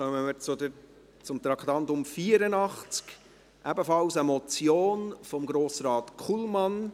Dann kommen wir zum Traktandum 84, ebenfalls eine Motion, von Grossrat Kullmann.